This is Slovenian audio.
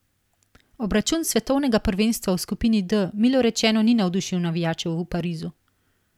Obračun svetovnega prvenstva v skupini D milo rečeno ni navdušil navijačev v Parizu.